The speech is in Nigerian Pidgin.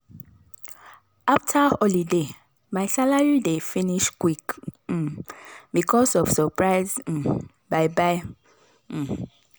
after holiday my salary dey finish quick um because of surprise um buy buy um